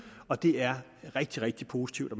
og det er rigtig rigtig positivt at